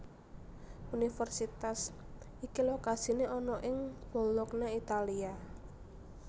Universitas iki lokasine ana ing Bologna Italia